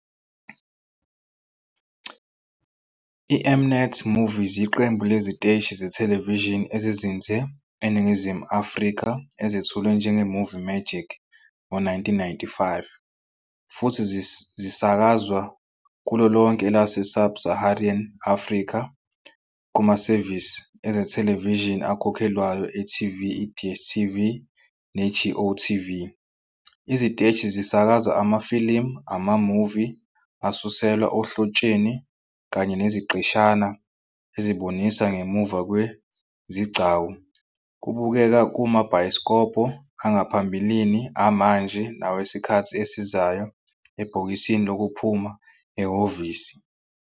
IM-Net Movies iyiqembu leziteshi zethelevishini ezizinze eNingizimu Afrika ezethulwe njenge-Movie Magic ngo-1995 futhi zisakazwa kulo lonke elase- Sub-Saharan Africa kumasevisi ezethelevishini akhokhelwayo e-TV iDStv neGOTV. Iziteshi zisakaza amafilimu, ama-movie asuselwa ohlotsheni kanye neziqeshana ezibonisa ngemuva-kwe-izigcawu kubukeka kumabhayisikobho angaphambili, amanje nawesikhathi esizayo ebhokisini lokuphuma ehhovisi.